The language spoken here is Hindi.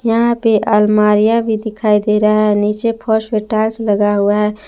यहां पे अलमारियां भी दिखाई दे रहा है नीचे फर्श में टाइल्स लगा हुआ है।